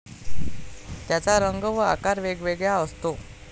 त्याचा रंग व आकार वेगवेगळा असतो.